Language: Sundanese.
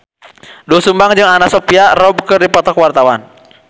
Doel Sumbang jeung Anna Sophia Robb keur dipoto ku wartawan